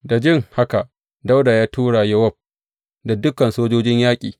Da jin haka, Dawuda ya tura Yowab da dukan sojojin yaƙi.